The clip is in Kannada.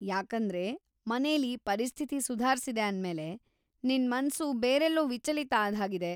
ಯಾಕಂದ್ರೆ ಮನೇಲಿ ಪರಿಸ್ಥಿತಿ ಸುಧಾರ್ಸಿದೆ ಅಂದ್ಮೇಲೆ, ನಿನ್‌ ಮನ್ಸು ಬೇರೆಲ್ಲೋ ವಿಚಲಿತ ಆದ್ಹಾಗಿದೆ.